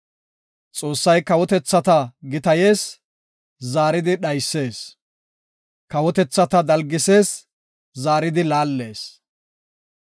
Xoossay kawotethata gitayees; zaaridi dhaysees; Kawotethata dalgisees; zaaridi laallees.